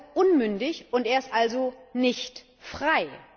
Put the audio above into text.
Er ist also unmündig, und er ist also nicht frei.